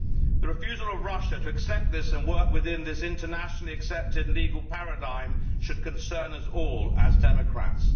The refusal of Russia to accept this and to work within this internationally accepted legal paradigm should concern us all as democrats.